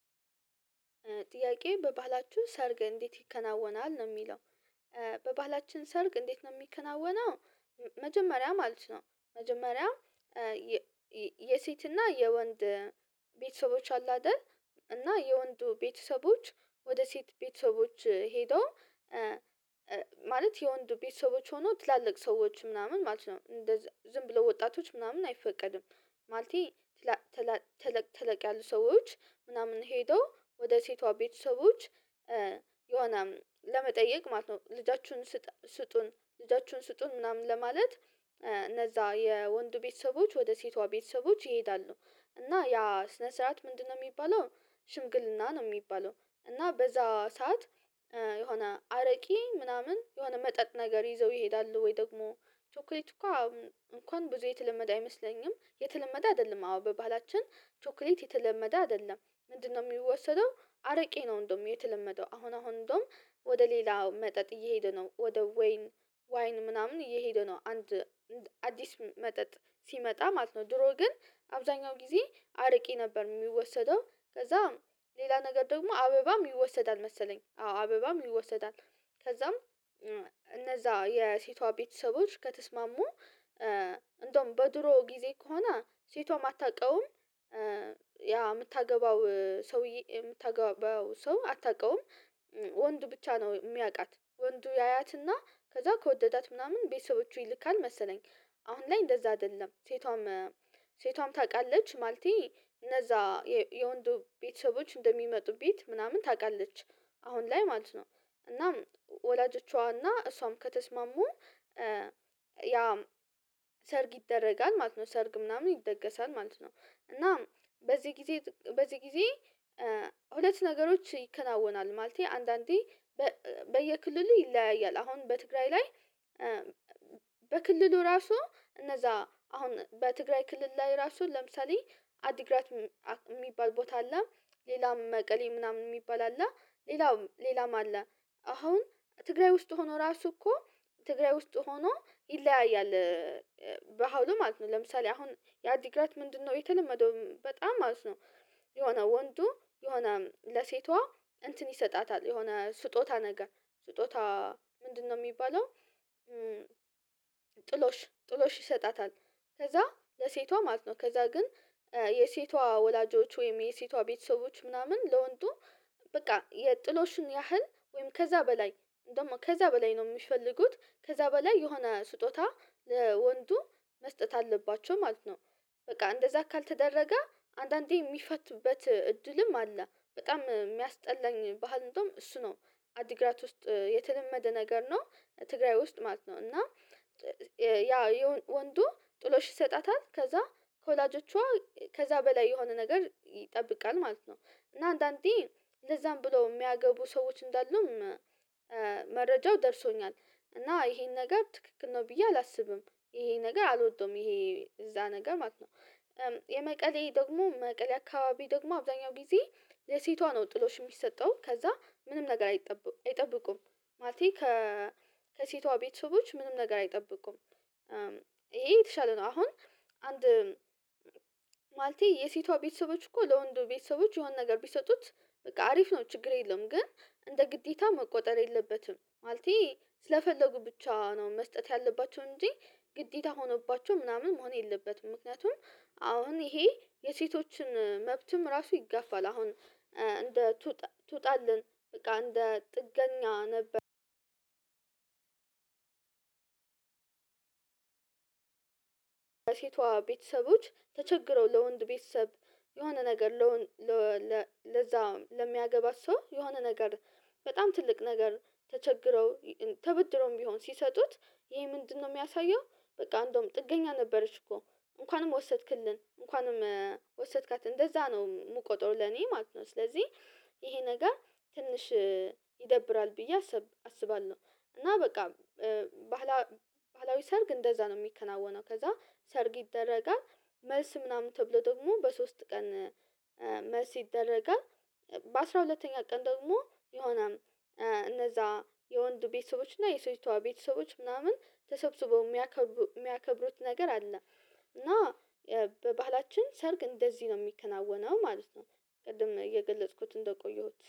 ጥያቄ በባህላችሁ ሰርግ እንዴት ይከናወናል? ነው የሚለው። በባህላችን ሰርግ እንዴት ነው የሚከናወነው? መጀመሪያም ማለት ነው ነው መጀመሪያ የሴትና የወንድ ቤተሰቦች አሉ አይደል እና የወንዱ ቤተሰቦች ወደ ሴት ቤተሰቦች ሄደው ማለት የወንድ ቤተሰቦች ሆኖ ትላልቅ ሰዎች ምናምን ማለት ነው። ዝም ብለው ወጣቶች ምናምን አይፈቀድም። ማለቴ ተለቅ ያሉ ሰዎች ምናምን ሄዶ ወደ ሴቷ ቤተሰቦች ኧ የሆነ ለመጠየቅ ማለት ነው ልጃችሁን ስጡን፣ ልጃችሁን ስጡን ምናምን ለማለት እነዛ የወንዱ ቤተሰቦች ወደ ሴቷ ቤተሰቦች ይሄዳሉ እና ያ ስነ ስርዓት ምንድነው የሚባለው ሽምግልና ነው የሚባለው። እና በዛ ሰዓት የሆነ አረቄ ምናምን የሆነ መጠጥ ነገር ይዘው ይሄዳሉ። ወይ ደግሞ ቸኮሌት እንኳን ብዙ የተለመደ አይመስለኝም። የተለመደ አይደለም አዎ በባላችን ቸኮሌት የተለመደ አይደለም። ምንድነው የሚወሰደው አረቄ ነው እንደውም የተለመደው። አሁን አሁን እንደውም ወደ ሌላው መጠጥ እየሄደ። ነው ወደ ወይን ዋይን ምናምን እየሄደ ነው። አንድ አዲስ መጠጥ ሲመጣ ማለት ነው ድሮ ግን አብዛኛው ጊዜ አረቄ ነበር የሚወሰደው። ከዛም ሌላ ነገር ደግሞ አበባም ይወሰዳል መሰለኝ አዎ አበባም ይወሰዳል። ከዛም እነዛ የሴቷ ቤተሰቦች ከተስማሙ እንደውም በድሮ ጊዜ ከሆነ ሴቷም አታውቀውም። ያ የምታገባው ሰውዬ የምታገባው ሰው አታውቀውም። ወንድ ብቻ ነው የሚያውቃት። ወንዱ ያያትና ከዛ ከወደዳት ምናምን ቤተሰቦቹን ይልካል መሰለኝ አሁን ላይ እንደዛ አይደለም። ሴቷም ሴቷም ታውቃለች ማለቴ እነዛ የወንዱ ቤተሰቦች እንደሚመጡ ቤት ምናምን ታውቃለች። አሁን ላይ ማለት ነው። እናም ወላጆቿና እሷም ከተስማሙ ያ ሰርግ ይደረጋል ማለት ነው። ሰርግ ምናምን ይደገሳል ማለት ነው። እና በዚህ ጊዜ በዚህ ጊዜ ሁለት ነገሮች ይከናወናል። ማለቴ አንዳንዴ በየክልሉ ይለያያል። አሁን በትግራይ ላይ በክልሉ ራሱ፣ እነዛ አሁን በትግራይ ክልል ላይ ራሱ ለምሳሌ አዲግራት የሚባል ቦታ አለ። ሌላም መቀሌ ምናምን የሚባል አለ። ሌላም አለ። አሁን ትግራይ ውስጥ ሆኖ ራሱ እኮ ትግራይ ውስጥ ሆኖ ይለያያል። ባህሉ ማለት ነው ለምሳሌ አሁን የአዲግራት ምንድነው የተለመደው በጣም ማለት ነው የሆነ ወንዱ የሆነ ለሴቷ እንትን ይሰጣታል። የሆነ ስጦታ ነገር ስጦታ ምንድነው የሚባለው ጥሎሽ፣ ጥሎሽ ይሰጣታል። ከዛ ለሴቷ ማለት ነው። ከዛ ግን የሴቷ ወላጆች ወይም የሴቷ ቤተሰቦች ምናምን ለወንዱ በቃ የጥሎሽን ያህል ወይም ከዛ በላይ እንደዉም ከዛ በላይ ነው የሚፈልጉት። ከዛ በላይ የሆነ ስጦታ ለወንዱ መስጠት አለባቸው ማለት ነው። በቃ እንደዛ ካልተደረገ አንዳንዴ የሚፋቱበት እድልም አለ። በጣም የሚያስጠላኝ ባህል እንደውም እሱ ነው። አዲግራት ውስጥ የተለመደ ነገር ነው። ትግራይ ውስጥ ማለት ነው እና ያ ወንዱ ጥሎሽ ይሰጣታል። ከዛ ከወላጆቿ ከዛ በላይ የሆነ ነገር ይጠብቃል ማለት ነው። እና አንዳንዴ ለዛም ብለው የሚያገቡ ሰዎች እንዳሉም መረጃው ደርሶኛል። እና ይሄን ነገር ትክክል ነው ብዬ አላስብም። ይሄ ነገር አልወደውም። ይሄ እንደዛ ነገር ማለት ነው። የመቀሌ ደግሞ መቀሌ አካባቢ ደግሞ አብዛኛው ጊዜ ለሴቷ ነው ጥሎሽ የሚሰጠው። ከዛ ምንም ነገር አይጠብቁም ማለቴ ከ ከሴቷ ቤተሰቦች ምንም ነገር አይጠብቁም። ይሄ የተሻለ ነው። አሁን አንድ ማለቴ የሴቷ ቤተሰቦች እኮ ለወንዱ ቤተሰቦች የሆነ ነገር ቢሰጡት፣ በቃ አሪፍ ነው ችግር የለዉም። ግን እንደ ግዴታ መቆጠር የለበትም። ማለቴ ስለፈለጉ ብቻ ነው መስጠት ያለባቸው እንጂ ግዴታ ሆኖባቸው ምናምን መሆን የለበትም። ምክንያቱም አሁን ይሄ የሴቶችን መብትም ራሱ ይጋፋል። አሁን እንደ ትውጣለን በቃ እንደ ጥገኛ ነገር ሴቷ ቤተሰቦች ተቸግረው ለወንድ ቤተሰብ የሆነ ነገር ለዛ ለሚያገባት ሰው የሆነ ነገር በጣም ትልቅ ነገር ተቸግረው ተበድረውም ቢሆን ሲሰጡት ይሄ ምንድነው የሚያሳየው በቃ እንደውም ጥገኛ ነበረች እኮ፣ እንኳንም ወሰድክልን፣ እንኳንም ወሰድካት። እንደዛ ነው የምቆጥረው ለኔ ማለት ነው። ስለዚህ ይሄ ነገር ትንሽ ይደብራል ብዬ አስብ አስባለሁ። እና በቃ ባህላ ባህላዊ ሰርግ እንደዛ ነው የሚከናወነው። ከዛ ሰርግ ይደረጋል። መልስ ምናምን ተብሎ ደግሞ በሶስት ቀን መልስ ይደረጋል። በአሥራ ሁለተኛ ቀን ደግሞ የሆነም እነዛ የወንዱ ቤተሰቦች እና የሴቷ ቤተሰቦች ምናምን ተሰብስበው የሚያከብሩት ነገር አለ። እና በባህላችን ሰርግ እንደዚህ ነው የሚከናወነው ማለት ነው። ቅድም እየገለጽኩት እንደቆየሁት